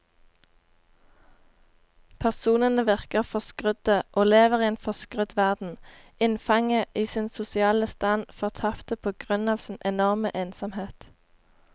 Personene virker forskrudde og lever i en forskrudd verden, innfanget i sin sosiale stand, fortapte på grunn av sin enorme ensomhet.